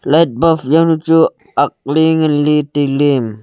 light bulb jawnu chu ak ley ngan ley tai ley.